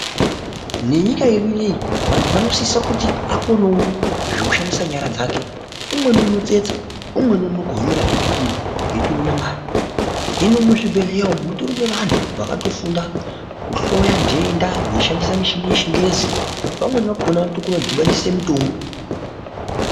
Venyika yedu ineyi vantu vanosisa kuti akonewo zvekushandisa nyara dzake umweni unotestsa umweni unokohomera zvipikiri eitoona mare hino muzvibhedhlera umu mutori neantu akatofunda kuhloya ntenda veishandisa muchini yechingezi vamweni vakhona vanotokona kutodhibanisa mutombo.